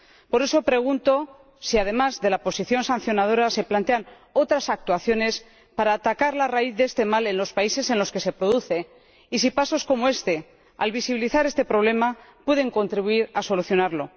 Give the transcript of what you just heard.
Por eso pregunto si, además de la posición sancionadora, se plantean otras actuaciones para atacar la raíz de este mal en los países en los que se produce, y si pasos como este, al visibilizar este problema, pueden contribuir a solucionarlo.